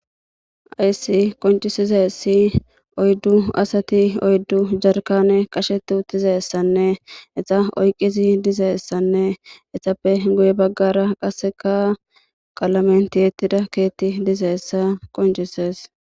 Ayssi qoncisizeessi oyddu asati oyddu jarkane qashetti uttizessanne esa oyqqizi dizeessanne essappe goye baggara qaseka qaalamentiyettida keetti dizeessa qoncisees